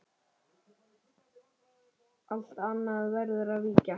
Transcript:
Allt annað verður að víkja.